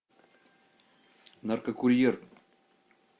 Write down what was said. наркокурьер